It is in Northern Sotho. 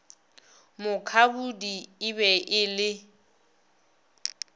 mukhabudi e be e le